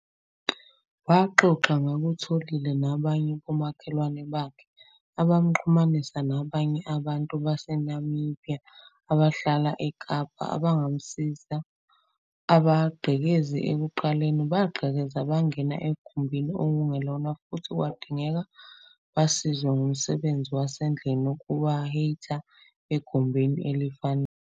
Waxoxa ngakutholile nabanye bomakhelwane bakhe abamxhumanisa nabanye abantu baseNamibiya abahlala eKapa, abangamsiza. Abagqekezi ekuqaleni bagqekeza bangena egumbini okungelona futhi kwadingeka basizwe ngomsebenzi wasendlini ukuba hate egumbini elifanele.